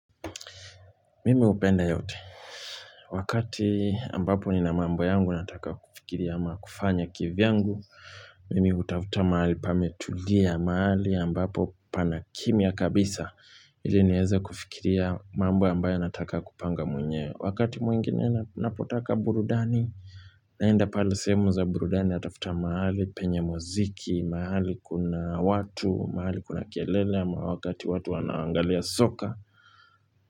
Mimi hupenda yote wakati ambapo nina mambo yangu nataka kufikiria ama kufanya kivyangu mimi hutafuta mahali pametulia mahali ambapo pana kimya kabisa ili nieze kufikiria mambo ambayo nataka kupanga mwenye wakati mwingine napotaka burudani naenda pala semu za burudani atafuta mahali penye muziki mahali kuna watu, mahali kuna kelele ama wakati watu wanaangalia soka.